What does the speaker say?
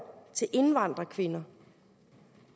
til indvandrerkvinder